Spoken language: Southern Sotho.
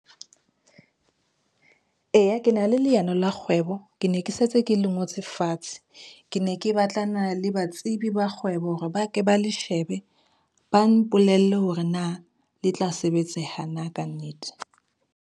Eya, ke na le leano la kgwebo, ke ne ke setse ke le ngotse fatshe. Ke ne ke batlana le batsebi ba kgwebo hore ba ke ba le shebe, ba mpolelle hore na le tla sebetseha na ka nnete.